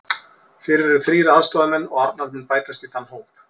Fyrir eru þrír aðstoðarmenn og Arnar mun bætast í þann hóp.